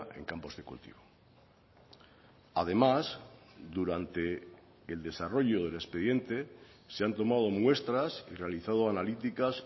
en campos de cultivo además durante el desarrollo del expediente se han tomado muestras y realizado analíticas